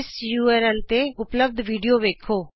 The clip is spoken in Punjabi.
ਇਸ ਯੂਆਰਐਲ ਤੇ ਉਪਲੱਭਦ ਵੀਡੀਉ ਵੇਖੋ